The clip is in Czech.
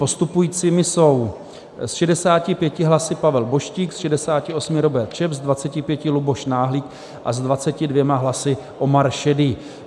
Postupujícími jsou s 65 hlasy Pavel Boštík, s 68 Robert Čep, s 25 Luboš Náhlík a s 22 hlasy Omar Šerý.